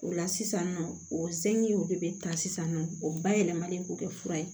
O la sisan nɔ o zekiw de bɛ ta sisan nɔ o bayɛlɛmalen bɛ kɛ fura ye